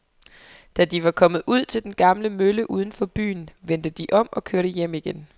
Da de var kommet ud til den gamle mølle uden for byen, vendte de om og kørte hjem igen.